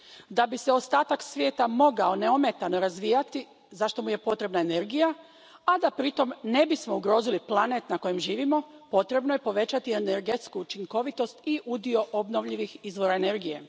Da bi se ostatak svijeta mogao neometano razvijati, za što mu je potrebna energija, a da pritom ne bismo ugrozili planet na kojem živimo, potrebno je povećati energetsku učinkovitost i udio obnovljivih izvora energije.